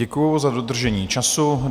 Děkuji za dodržení času.